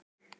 Jón mælti